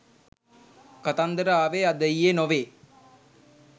කතන්දර ආවේ අද ඊයේ නොවේ.